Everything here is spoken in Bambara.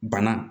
Bana